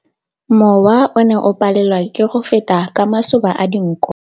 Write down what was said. Mowa o ne o palelwa ke go feta ka masoba a dinko.